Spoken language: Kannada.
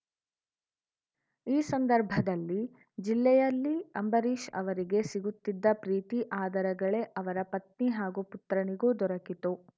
ಈ ಸಂದರ್ಭದಲ್ಲಿ ಜಿಲ್ಲೆಯಲ್ಲಿ ಅಂಬರೀಷ್‌ ಅವರಿಗೆ ಸಿಗುತ್ತಿದ್ದ ಪ್ರೀತಿ ಆದರಗಳೇ ಅವರ ಪತ್ನಿ ಹಾಗೂ ಪುತ್ರನಿಗೂ ದೊರಕಿತು